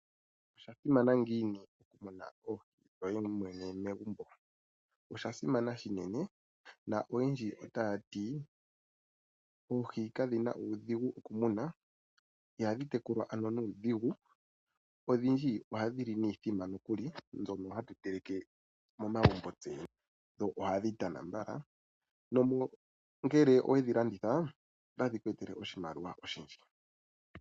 Osha simana ngiini okumuna oohi dhoye mwene megumbo? Osha simana shinene na oyendji otaya ti oohi kadhi na uudhigu okumunwa ihadhi tekulwa ano nuudhigu, odhindji ohadhi li niithima nokuli mbyono hatu teleke momagumbo dho ohadhi tana mbala. Dho ngele owe dhi landitha otadhi ku etele oshimaliwa oshindji.